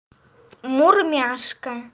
мурмяшка